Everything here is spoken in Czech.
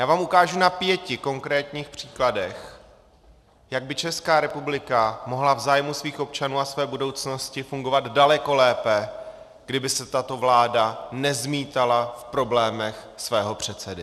Já vám ukážu na pěti konkrétních příkladech, jak by Česká republika mohla v zájmu svých občanů a své budoucnosti fungovat daleko lépe, kdyby se tato vláda nezmítala v problémech svého předsedy.